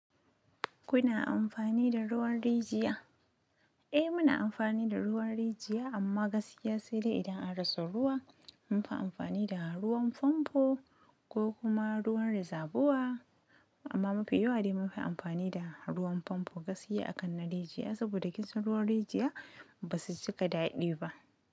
Kuna amfani da ruwan rijiya? Eh muna amfani da ruwan rijiya amma gaskiya sai dai idan an rasa ruwa munfi amfani da ruwan famfo ko kuma ruwan rezabuwa amma mafi yawa dai munfi amfani da ruwan famfo gaskiya akan na rijiya saboda kisan ruwan rijiya basu cika ɗaɗi ba.